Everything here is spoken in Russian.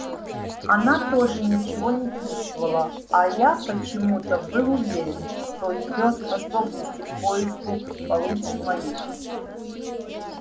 она тоже ничего не чувствовала а я почему-то был уверен что её способности к поиску получше моих